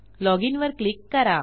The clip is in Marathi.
loginवर क्लिक करा